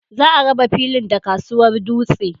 Za a raba filin da kasuwar dutse.